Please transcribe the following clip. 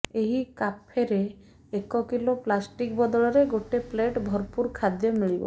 ଏହି କାଫେରେ ଏକ କିଲୋ ପ୍ଲାଷ୍ଟିକ୍ ବଦଳରେ ଗୋଟେ ପ୍ଲେଟ ଭରପୂର ଖାଦ୍ୟ ମିଳିବ